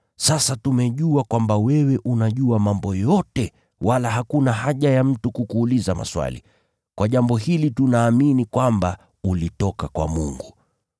Sasa tumejua kwamba wewe unajua mambo yote, wala hakuna haja ya mtu kukuuliza maswali. Kwa jambo hili tunaamini kwamba ulitoka kwa Mungu.”